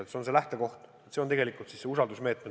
See on see lähtekoht, see on tegelikkuses see usaldusmeetod.